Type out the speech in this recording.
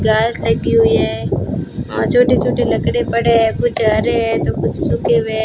घास लगी हुई है और छोटे छोटे लकड़े पड़े हैं कुछ हरे हैं तो कुछ सूखे हुए--